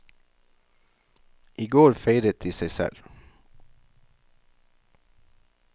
I går feiret de seg selv.